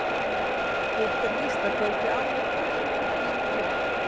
Hitt er víst að kvöldið áður datt mér það fyrst í hug.